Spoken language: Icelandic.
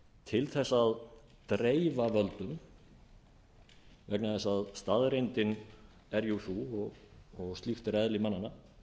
til þess að dreifa völdunum vegna þess að staðreyndin er jú sú og slíkt er eðli mannanna